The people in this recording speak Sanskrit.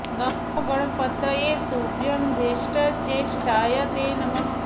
नमो ग णपतये तुभ्यं ज्येष्ठ ज्ये ष्ठाय ते नमः